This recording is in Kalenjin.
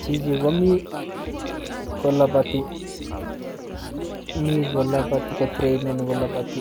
Chichi komi koloboti mi koloboti kotraineni koloboti